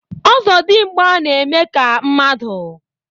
ọzọdimgba na-eme ka mmadụ.